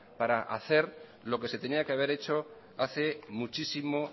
para hacer lo que se tenía que haber hecho hace muchísimo